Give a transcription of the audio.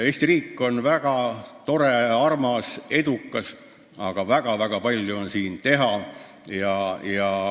Eesti riik on väga tore, armas, edukas, aga siin on väga-väga palju teha.